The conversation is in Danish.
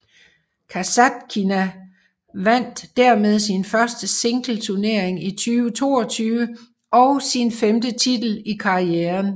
Kasatkina vandt dermed sin første singleturnering i 2022 og sin femte titel i karrieren